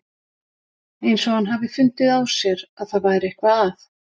Eins og hann hafi fundið á sér að það væri eitthvað að.